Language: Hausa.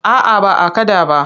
A'a ba a kaɗa ba.